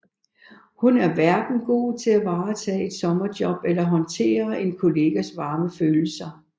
Hun er hverken god til at varetage et sommerjob eller håndtere en kollegas varme følelser